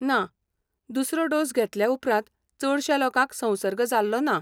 ना, दुसरो डोस घेतले उपरांत चडश्या लोकांक संसर्ग जाल्लो ना.